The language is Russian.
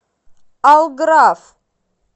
алграф